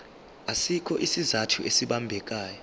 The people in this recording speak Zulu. asikho isizathu esibambekayo